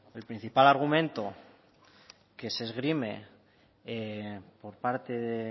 el principal argumento que se esgrime por parte del